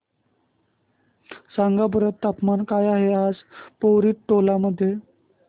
सांगा बरं तापमान काय आहे आज पोवरी टोला मध्ये